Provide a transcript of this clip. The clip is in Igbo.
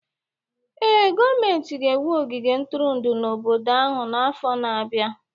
Ee, gọọmentị ga-ewu ogige ntụrụndụ n'obodo ahụ n'afọ na-abịa